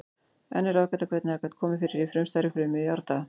Enn er ráðgáta hvernig það gat komið fram í frumstæðri frumu í árdaga.